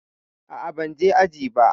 A'a, ban je aji ba.